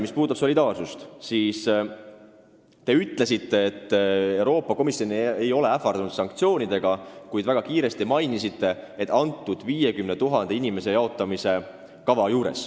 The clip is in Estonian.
Mis puudutab solidaarsust, siis te ütlesite, et Euroopa Komisjon ei ole ähvardanud sanktsioonidega, ja lisasite kiiresti, et mõtlete seda 50 000 inimese jaotamise kava.